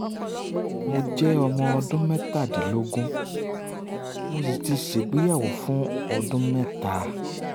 mo jẹ ọmọ ọdún mẹ́tàdínlọ́gbọ̀n mo sì ti ṣègbéyàwó fún ọdún mẹ́ta